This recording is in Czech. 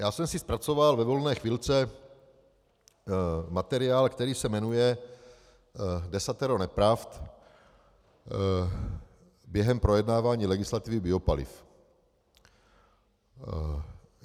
Já jsem si zpracoval ve volné chvilce materiál, který se jmenuje Desatero nepravd během projednávání legislativy biopaliv.